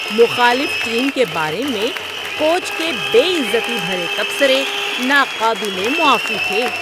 مخالف ٹیم کے بارے میں کوچ کے بے عزتی بھرے تبصرے ناقابل معافی تھے۔